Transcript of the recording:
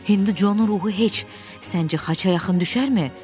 Hinducun ruhu heç səncə xaça yaxın düşərmi?